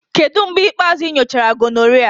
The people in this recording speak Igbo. Kedu mgbe ikpeazụ ị nyochara gonorrhea?